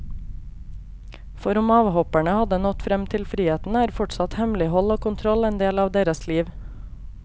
For om avhopperne har nådd frem til friheten, er fortsatt hemmelighold og kontroll en del av deres liv.